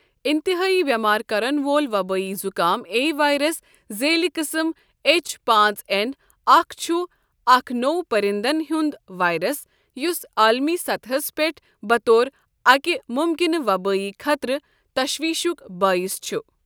انتہٲئی بیمار كرن وول وبٲیی زكام اے وائرس ذیلی قٕسم ایچ پانٛژ این اکھ چھ اکھ نوٚو پرِندن ہٖند وائرس یُس عالمی سطحَس پٮ۪ٹھ بطور اَکہِ مُمکنہٕ وبٲئی خطرٕ تشویشُک بٲعث چھ۔